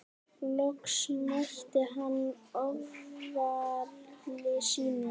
Loks mætti hann ofjarli sínum.